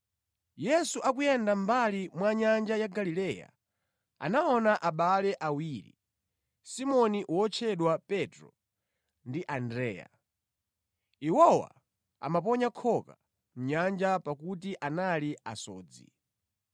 Pamene Yesu ankayenda mʼmbali mwa nyanja ya Galileya, anaona abale awiri, Simoni wotchedwa Petro ndi mʼbale wake Andreya akuponya khoka mʼnyanja popeza anali asodzi.